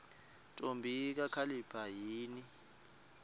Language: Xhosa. ntombi kakhalipha yini